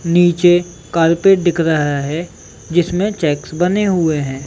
नीचे कारपेट दिख रहा है जिसमे चेक्स बने हुए है।